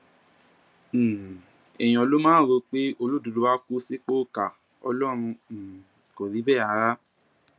um èèyàn ló máa ń rò pé olódodo áà kù sípò ìkà ọlọrun um kò rí bẹẹ rárá